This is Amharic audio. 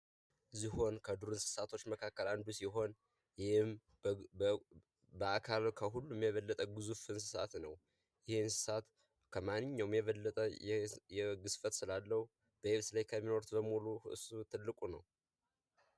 ዝሆን ከዱር እንስሳቶች መካከል አንዱ ሲሆን ይህም በአካል ከሁሉም የበለጠ ግዙፍ እንስሳት ነው። ይህ እንስሳት ከማንኛውም የበለጠ ግዝፈት ስላለው በየብስ ላይ ከሚኖሩት ሁሉ እሱ ትልቁ ነው።